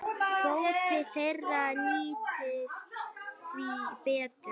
Kvóti þeirra nýtist því betur.